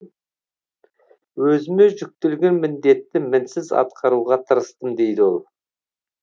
өзіме жүктелген міндетті мінсіз атқаруға тырыстым дейді ол